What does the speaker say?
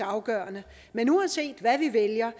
afgørende men uanset hvad vi vælger